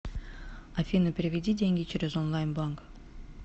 афина переведи деньги через онлайн банк